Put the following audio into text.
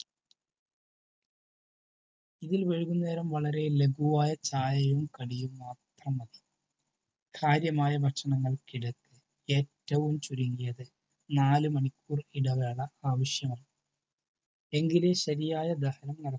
ഇതിൽ വൈകുന്നേരം വളരെ ലഖുവായ ചായയും കടിയും മാത്രം മതി. കാര്യമായ ഭക്ഷണത്തിനു ഏറ്റവും ചുരുങ്ങിയത് നാല് മണിക്കൂർ ഇടവേള ആവശ്യമാണ്. എങ്കിലേ ശരിയായ ദഹനം നടക്കു.